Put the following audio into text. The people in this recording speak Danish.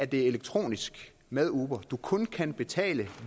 det er elektronisk med uber du kun kan betale